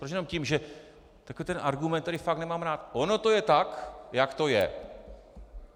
Proč jenom tím, že - takový ten argument, který fakt nemám rád - ono to je tak, jak to je.